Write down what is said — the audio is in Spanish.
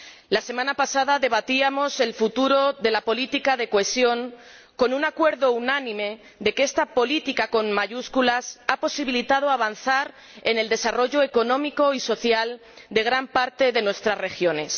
La semana pasada debatíamos el futuro de la política de cohesión con un acuerdo unánime en que esta política con mayúsculas ha permitido avanzar en el desarrollo económico y social de gran parte de nuestras regiones.